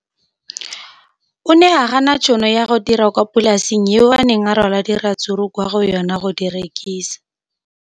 O ne a gana tšhono ya go dira kwa polaseng eo a neng rwala diratsuru kwa go yona go di rekisa.